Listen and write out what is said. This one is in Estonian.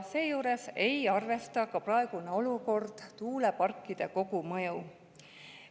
Seejuures ei arvesta praegune olukord tuuleparkide kogumõju.